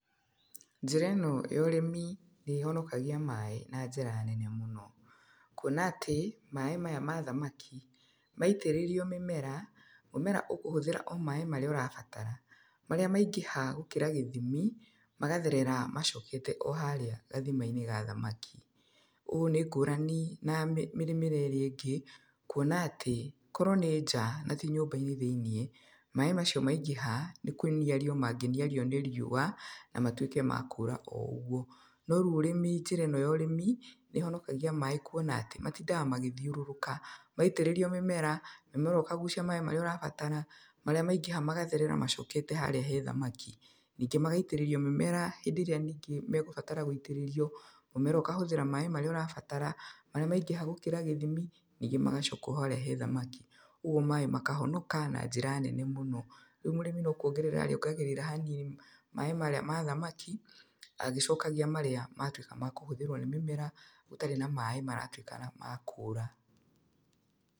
Njĩra ĩno ya ũrĩmi nĩ ĩhonokagia maaĩ na njĩra nene mũno. Kuona atĩ, maaĩ maya ma thamaki, maitĩrĩrio mĩmera, mũmera ũkũhũthĩra o maaĩ marĩa ũrabatara, marĩa maingĩha gũkĩra gĩthimi, magatherera macokete o haarĩ gathima-inĩ ga thamaki. Ũũ nĩ ngũrani na mĩrĩmĩre ĩrĩa ĩngĩ, kuona atĩ, korwo nĩ nja, na ti nyũmba-inĩ thĩiniĩ, maaĩ macio maingĩha, nĩ kũniario mangĩniario nĩ riũa, na matuĩke ma kũũra o ũguo. No rĩu ũrĩmi njĩra ĩno ya ũrĩmi, nĩ ĩhonokagia maaĩ kuona atĩ, matindaga magĩthiũrũrũka. Maitĩrĩrio mĩmera, mũmera ũkagucia maaĩ marĩa ũrabatara, marĩa maingĩha magatherera macokete harĩa he thamaki. Ningĩ magaitĩrĩrio mĩmera hĩndĩ ĩrĩa ningĩ megũbatara gũitĩrĩrio, mũmera ũkahũthĩra maaĩ marĩa ũrabatara, marĩa maingĩha gũkĩra gĩthimi, ningĩ magacoka o harĩa he thamaki. Ũguo maaĩ makahonoka na njĩra nenemũno. Rĩu mũrĩmi no kuongerera arĩongagĩrĩra hanini, maaĩ marĩa ma thamaki, agĩcokagia marĩa matuĩka ma kũhũthĩrwo nĩ mĩmera, gũtarĩ na maaĩ maratuĩka ma kũũra.